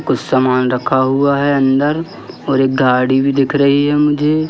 कुछ सामान रखा हुआ है अंदर और एक गाड़ी भी दिख रही है मुझे।